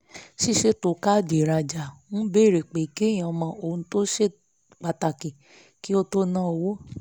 ṣíṣètò káàdì ìrajà ń béèrè pé kéèyàn mọ ohun tó ṣe pàtàkì kí ó tó na owó